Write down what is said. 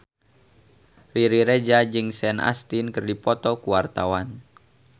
Riri Reza jeung Sean Astin keur dipoto ku wartawan